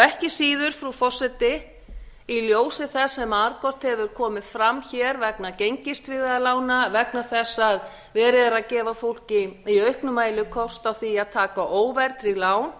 ekki síður frú forseti í ljósi þess sem margoft hefur komið fram hér vegna gengistryggðra lána vegna þess að verið er að gefa fólki í auknum mæli kost á því að taka óverðtryggð lán